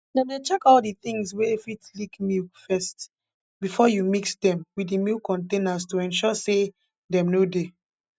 dem dey check all d tins wey fit leak milk first before you mix dem with the milk containers to ensure say dem no dey